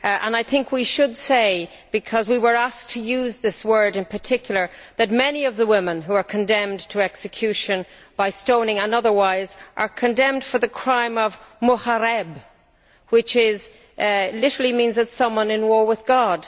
I think we should say, because we were asked to use this word in particular, that many of the women who are condemned to execution by stoning and otherwise are condemned for the crime of mohareb which literally means someone at war with God.